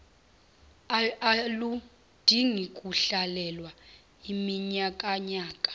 aludingi kuhlalelwa iminyakanyaka